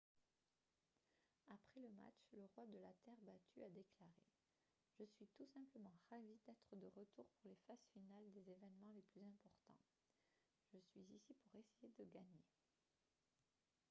après le match le roi de la terre battue a déclaré :« je suis tout simplement ravi d'être de retour pour les phases finales des événements les plus importants. je suis ici pour essayer de gagner »